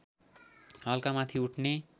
हल्का माथि उठ्ने